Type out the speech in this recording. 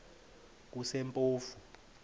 kusempofu